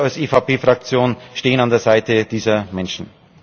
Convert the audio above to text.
Wir als EVP Fraktion stehen an der Seite dieser Menschen.